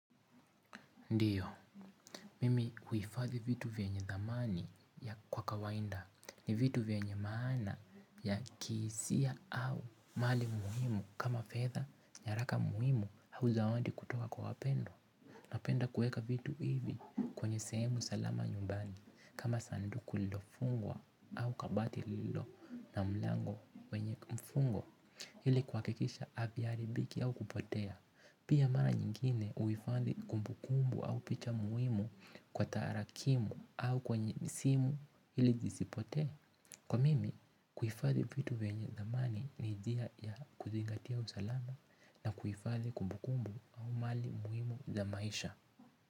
Ndio, mimi huhifadhi vitu vyenye thamani kwa kawaida ni vitu vyenye maana ya kihisia au mali muhimu kama fedha, nyaraka muhimu au zawadi kutoka kwa wapendwa. Napenda kuweeka vitu hivi kwenye sehemu salama nyumbani kama sanduku lilofungwa au kabati lililo na mlango wenye mfungo ili kuhakikisha haviharibiki au kupotea. Pia mara nyingine huhifadhi kumbu kumbu au picha muhimu kwa tarakimu au kwenye simu ili zisipotee. Kwa mimi, kuhifadhi vitu venye dhamani ni njia ya kuzingatia usalama na kuhifadhi kumbukumbu au mali muhimu za maisha.